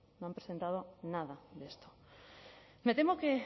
no han presentado nada de esto me temo que